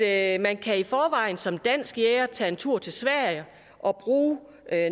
at man som dansk jæger tage en tur til sverige og bruge